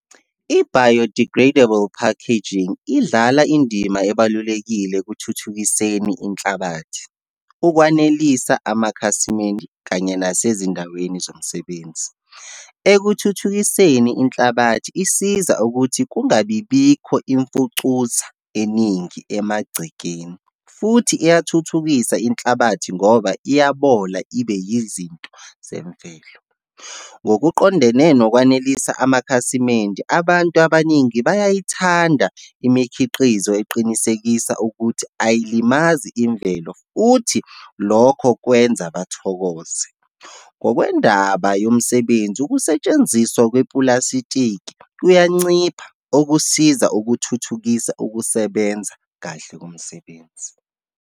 I-biodegradable packaging idlala indima ebalulekile ekuthuthukiseni inhlabathi, ukwanelisa amakhasimende, kanye nasezindaweni zomsebenzi. Ekuthuthukiseni inhlabathi, isiza ukuthi kungabibikho imfucuza eningi emagcekeni, futhi iyathuthukisa inhlabathi ngoba iyabola, ibe yizinto zemvelo. Ngokuqondene nokwanelisa amakhasimende, abantu abaningi bayayithanda imikhiqizo eqinisekisa ukuthi ayilimazi imvelo, futhi lokho kwenza bathokoze. Ngokwendaba yomsebenzi, ukusetshenziswa kwepulasitiki kuyancipha okusiza ukuthuthukisa ukusebenza kahle komsebenzi.